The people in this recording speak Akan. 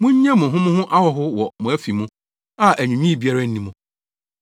Munnye mo ho mo ho ahɔho wɔ mo afi mu a anwiinwii biara nni mu.